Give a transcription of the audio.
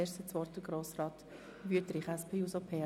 Zuerst hat Grossrat Wüthrich das Wort. ).